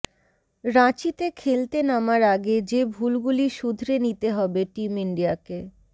রাঁচিতে খেলতে নামার আগে যে ভুলগুলি শুধরে নিতে হবে টিম ইন্ডিয়াকে